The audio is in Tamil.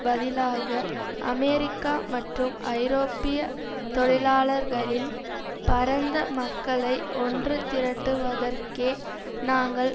பதிலாக அமெரிக்க மற்றும் ஐரோப்பிய தொழிலாளர்களின் பரந்த மக்களை ஒன்று திரட்டுவதற்கே நாங்கள்